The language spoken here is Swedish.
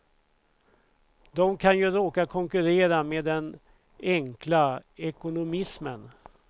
De kan ju råka konkurrera med den enkla ekonomismen.